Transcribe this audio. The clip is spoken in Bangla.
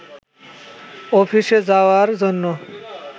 অফিসে যাওয়ার জন্য